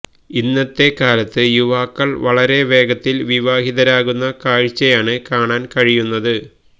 ഇന്നത്തെക്കാലത്ത് യുവാക്കൾ വളരെ വേഗത്തിൽ വിവാഹിതരാകുന്ന കാഴ്ചയാണ് കാണാൻ കഴിയുന്നത്